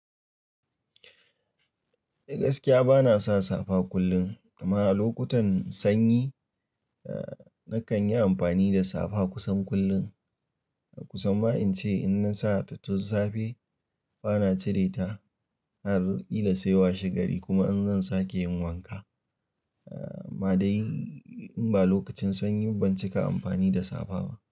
Eh gaskiya bana sa safa kullum, amma a lokutan sanyi nakan yi amfani da safa kusan kullum. Kusan ma in ce in na sa ta tun safe bana cire ta har ƙila sai washe gari kuma in zan sake yin wanka. Amma dai in ba lokacin sanyi ba ban cika amfani da safa ba.